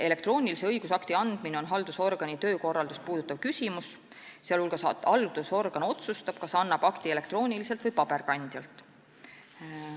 Elektroonilise õigusakti andmine on haldusorgani töökorraldust puudutav küsimus, sh haldusorgan otsustab, kas annab akti elektrooniliselt või paberil.